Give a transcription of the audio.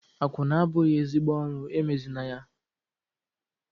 Akwụna abụghị ezigbo ọrụ, emezịna ya!